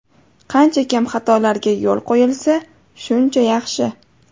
Qancha kam xatolarga yo‘l qo‘yilsa, shuncha yaxshi.